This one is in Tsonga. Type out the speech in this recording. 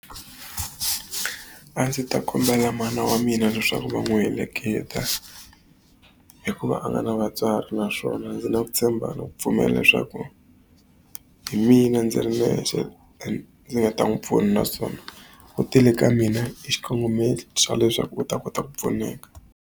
A ndzi ta kombela mana wa mina leswaku va n'wi heleketa, hikuva a nga na vatswari. Naswona ndzi na ku tshemba ni ku pfumela leswaku hi mina ndzi ri nexe ndzi nga ta n'wi pfuna, naswona u tile ka mina hi xikongomelo xa leswaku u ta kota ku pfuneka.